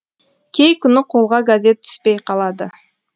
кей күні қолға газет түспей қалады